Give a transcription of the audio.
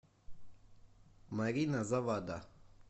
марина завада